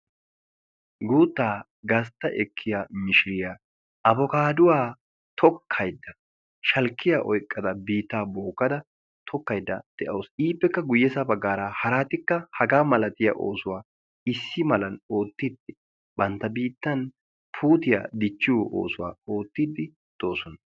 Guuttaa gastta ekkiya mishiriyaa abokaaduwaa tokkaydda shalkkiya oiqqada biittaa booggada tokkaidda de'ausu. iippekka guyyesa baggaara haraatikka hagaa malatiya oosuwaa issi malan oottiddi bantta biittan puutiyaa dichchiyo oosuwaa oottiddi doosona.